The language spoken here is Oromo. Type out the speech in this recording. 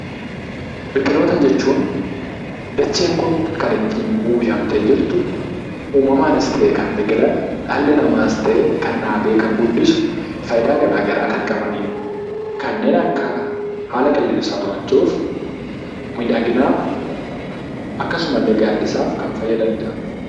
Biqiltoota jechuun dacheen kun kan ittiin uwwifamtee jirtu, uumamaanis ta'e kan biqilan, dhalli namaas ta'e kan dhaabee, kan guddisu faayidaa gara garaa jan qabani dha. Kanneen akka haala qilleensaa to'achuuf, miidhaginaaf, akkasumallee gaaddisaaf kan fayyadani dha.